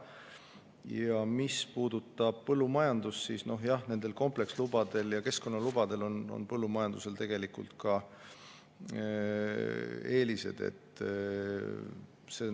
Ja mis puudutab põllumajandust, siis jah, komplekslubade ja keskkonnalubade puhul on põllumajandusel ka eeliseid.